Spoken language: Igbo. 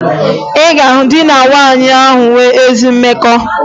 Ị ga-ahụ di na nwunye ahụ nwere ezi mmekọ